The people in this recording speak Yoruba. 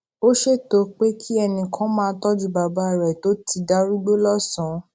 ó ṣètò pé kí ẹnì kan máa tójú bàbá rè tó ti darúgbó lósànán